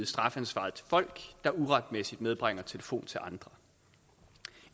strafansvaret til folk der uretmæssigt medbringer telefon til andre